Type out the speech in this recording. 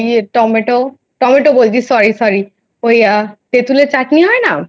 tomato tomato বলছি Sorry Sorry তেঁতুলের চাটনি হয়না